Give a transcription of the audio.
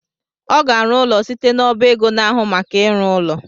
Ọ ga-arụ ụlọ site n’ọba ego na-ahụ maka ịrụ ụlọ